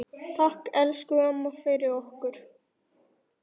Takk, elsku amma, fyrir okkur.